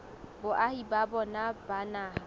boahi ba bona ba naha